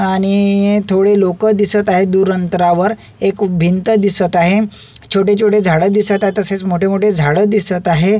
आणि थोडे लोक दिसत आहे दूर अंतरावर एक भिंत दिसत आहे छोटे छोटे झाड दिसत आहे तसेच मोठे मोठे झाड दिसत आहेत.